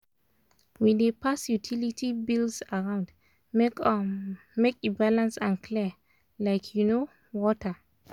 we dey pass utility bills around make um make e balance and clear like um water.